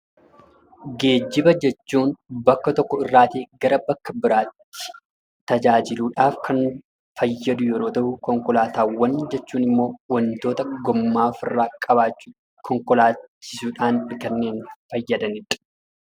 Geejjiba jechuun bakka tokko irraa gara bakka biraatti tajaajiluudhaaf kan fayyadu yemmuu ta'u, konkolaataawwan jechuun ammoo wantoota gommaa of irraa qabaachuun konkolaachisuudhaan kanneen fayyadanidha.